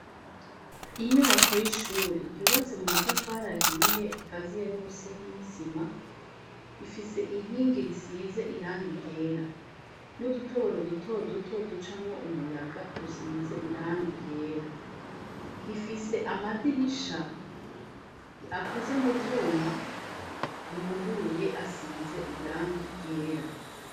Inyubako y'ishuri yubatse mu matafari ahiye ikaziye n'umusenyi risima rifise inkingi risize iranga igera n'udutoboro dutoduto ducamwo umuyaga dusize iranga igera rifise amadirisha akoze mu vyuma yuguruye asize irangi ryera.